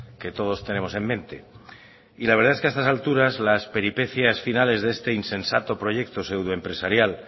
que todos tenemos en mente y la verdad es que a estas alturas las peripecias finales de este insensato proyecto pseudo empresarial